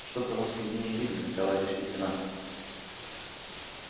что-то вас нигде не видно товарищ лейтенант